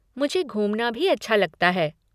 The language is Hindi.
मुझे घुमना भी अच्छा लगता है।